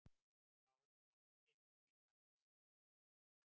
Þá komst eymd mín hæst.